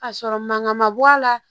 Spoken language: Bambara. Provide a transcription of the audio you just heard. Ka sɔrɔ mankan man bɔ a la